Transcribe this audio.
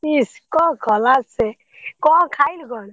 ଇସ କଣ କଲା ସେ, କଣ ଖାଇଲୁ କଣ?